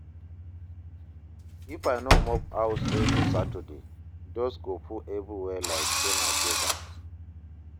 If I no mop house every Saturday, dust go full everywhere like say na desert.